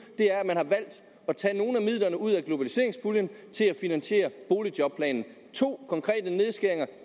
er at man har valgt at tage nogle af midlerne ud af globaliseringenspuljen til at finansiere boligjobordningen to konkrete nedskæringer